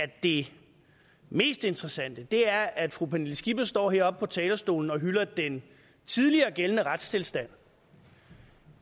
det mest interessante er at fru pernille skipper står heroppe på talerstolen og hylder den tidligere gældende retstilstand